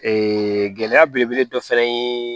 gɛlɛya belebele dɔ fɛnɛ ye